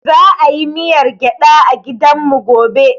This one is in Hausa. Za a yi miyar gyada a gidan mu gobe